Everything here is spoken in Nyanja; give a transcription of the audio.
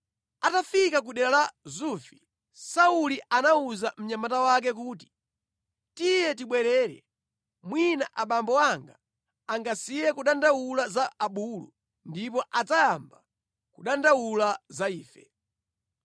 Atafika ku dera la Zufi, Sauli anawuza mnyamata wake kuti, “Tiye tibwerere, mwina abambo anga angasiye kudandaula za abulu ndipo adzayamba kudandaula za ife.”